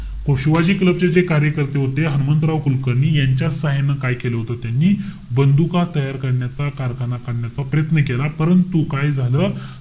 Shivaji club चे जे कार्यकर्ते होते, हनुमंतराव कुलकर्णी यांच्या साहाय्याने काय केलं होत त्यांनी? बंदुका तयार करण्याचा कारखाना काढण्याचा प्रयत्न केला. परंतु, काय झालं?